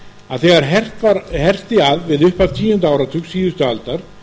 að þegar herti að við upphaf tíunda áratugs síðustu aldar